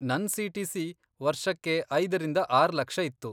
ನನ್ ಸಿಟಿಸಿ ವರ್ಷಕ್ಕೆ ಐದರಿಂದ ಆರ್ ಲಕ್ಷ ಇತ್ತು.